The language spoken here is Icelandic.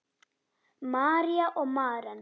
María og Maren.